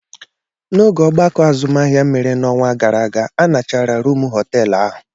N'oge ogbako azụmahịa mere n'ọnwa gara aga, a nachara rúmụ họteelu ahu.